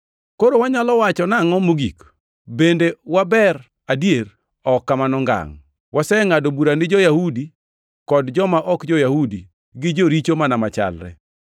Koro wanyalo wacho nangʼo mogik? Bende waber adier? Ok kamano ngangʼ! Wasengʼado bura ni jo-Yahudi kod joma ok jo-Yahudi gi joricho mana machalre.